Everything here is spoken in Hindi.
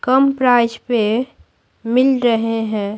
कम प्राइस पे मिल रहे हैं।